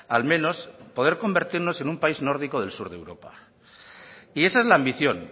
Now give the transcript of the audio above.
al menos es poder convertirnos en un país nórdico del sur de europa y esa es la ambición